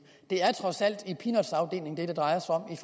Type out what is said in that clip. det er trods alt peanutsafdelingen det drejer sig om